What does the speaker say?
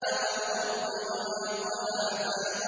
وَالْأَرْضِ وَمَا طَحَاهَا